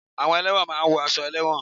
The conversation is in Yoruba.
Àwọn ẹlẹ́won máa ń wọ aṣọ ẹlẹ́won